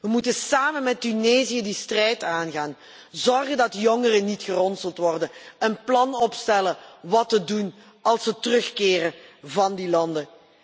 We moeten samen met Tunesië die strijd aangaan, ervoor zorgen dat jongeren niet geronseld worden en een plan opstellen wat te doen als ze terugkeren van die landen.